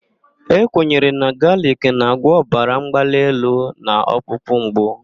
E kwenyere na galic na-agwọ ọbara mgbali elu na ọkpụkpụ mgbu.